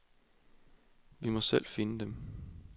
Vi må selv finde dem.